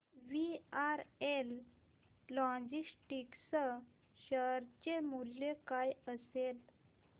VRL logistics share चे मूल्य काय असेल